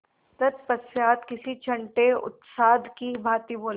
तत्पश्चात किसी छंटे उस्ताद की भांति बोले